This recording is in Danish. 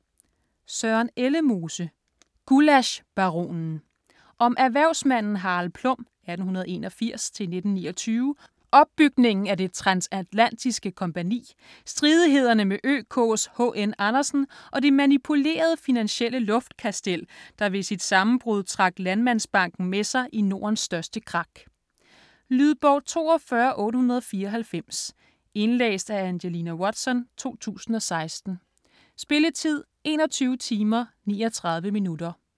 Ellemose, Søren: Gullaschbaronen Om erhvervsmanden Harald Plum (1881-1929), opbygningen af Det Transatlantiske Kompagni, stridighederne med ØKs H.N. Andersen, og det manipulerede finansielle luftkastel, der ved sit sammenbrud trak Landmandsbanken med sig i Nordens største krak. Lydbog 42894 Indlæst af Angelina Watson, 2016. Spilletid: 21 timer, 39 minutter.